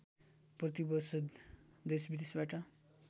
प्रति वर्ष देशविदेशबाट